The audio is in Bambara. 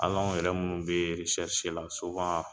Al'an yɛrɛ minnu be eresɛrisi la suwan